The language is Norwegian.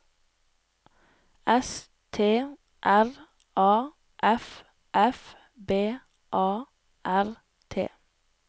S T R A F F B A R T